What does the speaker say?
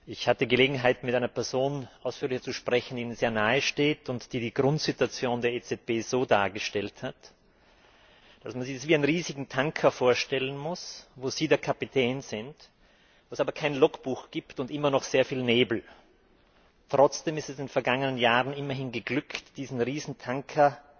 Ich hatte Gelegenheit, mit einer Person ausführlicher zu sprechen, die Ihnen sehr nahesteht und die Grundsituation der EZB so dargestellt hat, dass man sie sich wie einen riesigen Tanker vorstellen muss, wo Sie der Kapitän sind, dass es aber kein Logbuch gibt und immer noch sehr viel Nebel. Trotzdem ist es in den vergangenen Jahren immerhin geglückt, diesen Riesentanker